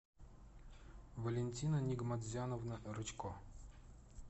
валентина нигматзяновна рычко